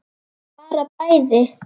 Bara bæði.